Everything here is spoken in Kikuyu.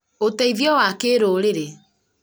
uteithio wa kĩrũũrĩrĩ